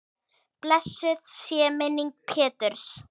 Blessuð sé minning Péturs.